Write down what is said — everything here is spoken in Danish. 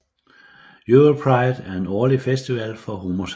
Europride er en årlig festival for homoseksulle